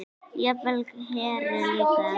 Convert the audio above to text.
Jafnvel Heru líka.